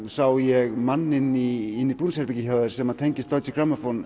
sá ég mann inni í búningsherbergi hjá þér sem tengist Deutsche